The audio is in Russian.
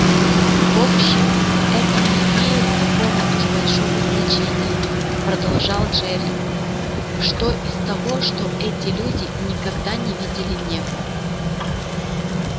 в общем это не имеет такого уж большого значения продолжал джерилл что из того что эти люди никогда не видели неба